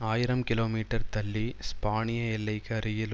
ஆயிரம் கிலோமீட்டர் தள்ளி ஸ்பானிய எல்லைக்கு அருகில்